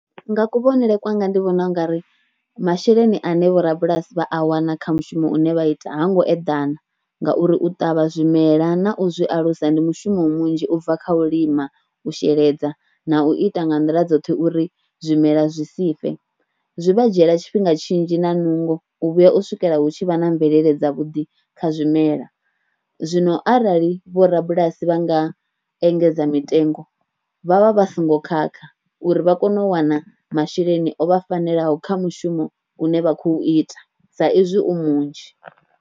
Nga kuvhonele kwanga ndi vhona u nga ri masheleni ane vhorabulasi vha a wana kha mushumo une vha ita ha ngo eḓana ngauri u ṱavha zwimela na u zwi alusa ndi mushumo munzhi u bva kha u lima u sheledza na u ita nga nḓila dzoṱhe uri zwimela zwi si fe, zwi vha dzhiela tshifhinga tshinzhi na nungo u vhuya u swikela hu tshi vha na mvelele dza vhuḓi kha zwimela. Zwino arali vho rabulasi vha nga engedza mitengo vha vha vha songo khakha uri vha kone u wana masheleni o vha fanelaho kha mushumo une vha khou ita sa izwi u munzhi.